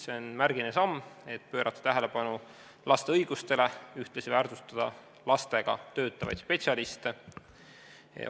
See on märgiline samm, et pöörata tähelepanu laste õigustele, ühtlasi väärtustada lastega töötavaid spetsialiste.